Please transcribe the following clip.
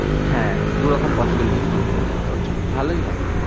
হ্যাঁ দু রকম possibilities তৈরী হয়ে যাবে তোর জন্য, ভালোই হবে।